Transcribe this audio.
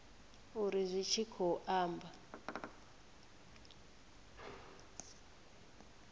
uri zwi tshi khou amba